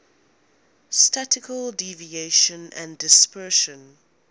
statistical deviation and dispersion